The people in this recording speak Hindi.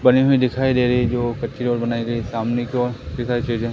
बनी हुई दिखाई दे रही है जो कच्ची रोड बनाई गई सामने की ओर है।